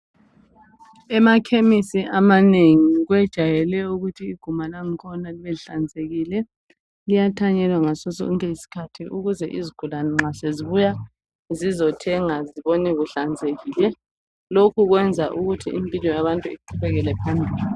Emakhemesi amanengi kujwayele ukuthi iguma langikhona libe lihlanzekike. Liyathanyelwa ngado sonke iskhathi ukuze izigulane nxa sezibuya zizothenga zibone kuhlanzekile. Lokhu kuyenza imphilo yabantu iqubekele phambili.